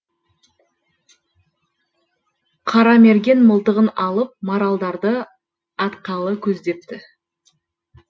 қарамерген мылтығын алып маралдарды атқалы көздепті